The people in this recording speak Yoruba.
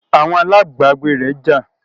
Àwọn alábágbé rẹ̀ jà